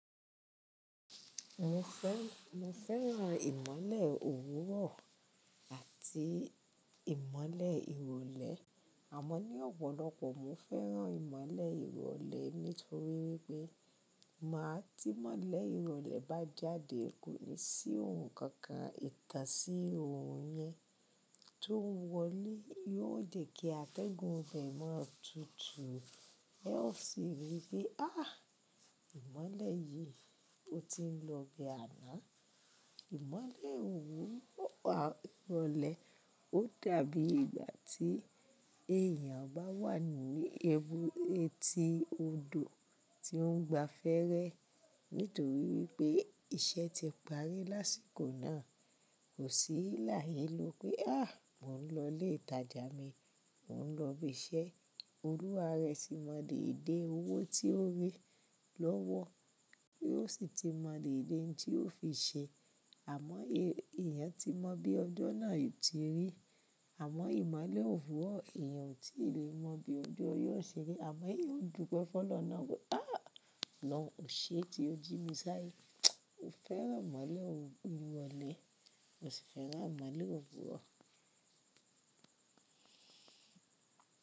Mo fẹ́, mo fẹ́ran ìmọ́lẹ̀ òwúrọ̀ àti ìmọ́lẹ̀ ìrọ̀lẹ́. Àmọ́ ní ọ̀pọ̀lọpọ̀ mo fẹ́ran ìmọ́lẹ̀ ìrọ̀lẹ́ nítorí wípé máa tí ìmọ́lẹ̀ ìrọ̀lẹ́ bá jáde kúúni sí ohun kankan, ìtàn sí ohun yẹn tó ń wọlé yóò jẹ̀ kí atẹ́gùn ọfẹ́ mọ́ tutù. Ó sì rí pé áàh ìmọ́lẹ̀ yìí ó ti ń lọ bẹ àná. Ìmọ́lẹ̀ òwúrọ̀ àti ìrọ̀lẹ́ ó dàbí ìgbà tí èèyàn bá wà ní ẹbu etí odò tí ó ń gba fẹ́rẹ́ nítorí wípé iṣẹ́ ti parí lásìkò náà. Kò sí láyé lo pé áh mò ń lọ ilé ìtajà mi, mò ń lọ ibi iṣẹ́. Olúwa rẹ̀ sì mọ dè dé owó tí ó rí lọ́wọ́, ó sì ti mọ dè dé ohun tí ó fi ṣe. Àmọ́ èèyàn tí mọ bí ọjọ́ náà yóò tí rí. Àmọ́ ìmọ́lẹ̀ òwúrọ̀ èèyàn ò tí lè mọ bí ojó yóò ṣe rí. Àmọ́ eeyan dùpẹ́ fọ́ lọ́nà pé áh lọ́n ò ṣe é tí ó jí mi sáyé. Mo fẹ́ran ìmọ́lẹ̀ òwúrọ̀ ìrọ̀lẹ́, mo sì fẹ́ran ìmọ́lẹ̀ òwúrọ̀.